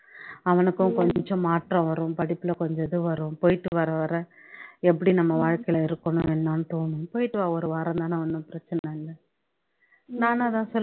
அவனுக்கும் கொஞ்சம் மாற்றம் வரும் படிப்புல கொஞ்சம் இது வரும் போயிட்டு வர வர எப்படி நம்ம வாழ்க்கையில இருக்கணும் என்னன்னு தோணும் போயிட்டு வா ஒரு வாரம் தானே ஒன்னும் பிரச்சனை இல்லை நானு அதான் சொல்லு